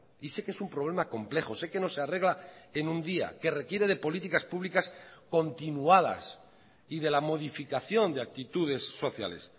y sé que es un problema complejo sé que no se arregla en un día que requiere de políticas públicas continuadas y de la modificación de actitudes sociales